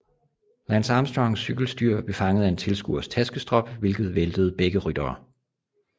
Lance Armstrongs cykelstyr blev fanget af en tilskuers taskestrop hvilket væltede begge ryttere